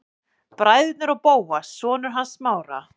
Bræðurnir og Bóas, sonur hans Smára.